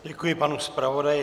Děkuji panu zpravodaji.